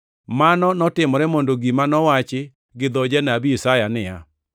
Mano notimore mondo gima nowachi gi dho Janabi Isaya, niya,